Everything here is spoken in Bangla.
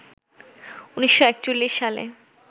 ১৯৪১ সালে